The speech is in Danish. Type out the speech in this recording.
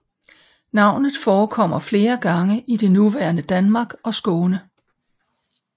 Navnet forekommer flere gange i det nuværende Danmark og Skåne